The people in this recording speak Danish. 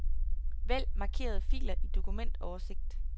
Vælg markerede filer i dokumentoversigt.